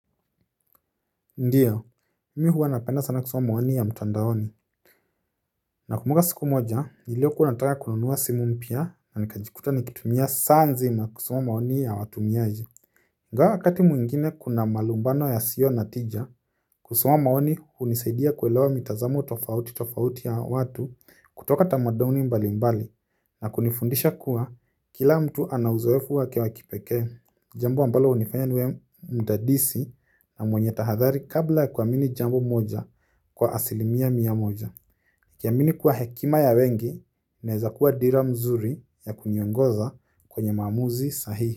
Ndiyo, mi huwa napenda sana kusoma maoni ya mtandaoni. Nakumbuka siku moja, niliokuwa nataka kununua simu mpya na nikajikuta nikitumia saa nzima kusoma maoni ya watumiaji. Ingawa wakati mwingine kuna malumbano yasiyo na tija, kusoma maoni hunisaidia kuelewa mitazamo tofauti tofauti ya watu kutoka tamaduni mbali mbali. Na kunifundisha kuwa kila mtu ana uzoefu wake wa kipekee jambo ambalo hunifanya niwe mdadisi na mwenye tahadhari kabla ya kuamini jambo moja kwa asilimia mia moja nikiamini kuwa hekima ya wengi naeza kuwa dira mzuri ya kuniongoza kwenye maamuzi sahihi.